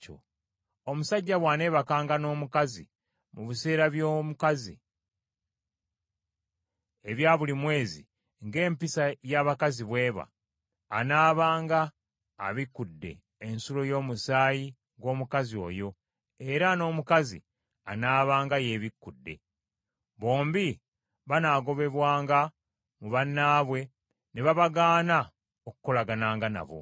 “ ‘Omusajja bw’aneebakanga n’omukazi mu biseera by’omukazi, ebya buli mwezi ng’empisa y’abakazi bw’eba, anaabanga abikudde ensulo y’omusaayi gw’omukazi oyo, era n’omukazi anaabanga yeebikudde. Bombi banaagobwanga mu bannaabwe ne babagaana okukolagananga nabo.